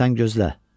Sən gözlə.